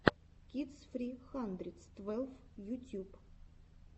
кидс фри хандридс твелв ютьюб